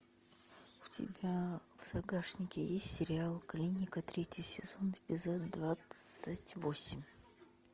у тебя в загашнике есть сериал клиника третий сезон эпизод двадцать восемь